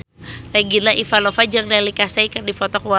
Regina Ivanova jeung Neil Casey keur dipoto ku wartawan